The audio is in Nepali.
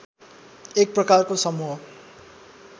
एक प्रकारको समूह